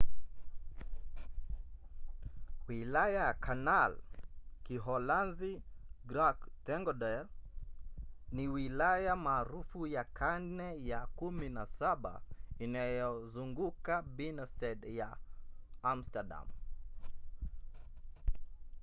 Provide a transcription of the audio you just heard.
wilaya ya canal kiholanzi: grachtengordel ni wilaya maarufu ya karne ya 17 inayozunguka binnenstad ya amsterdam